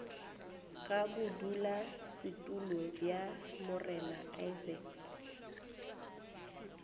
ga bodulasetulo bja morena isaacs